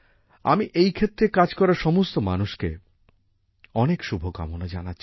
আমি এই ক্ষেত্রে কাজ করা সমস্ত মানুষকে অনেক শুভকামনা জানাচ্ছি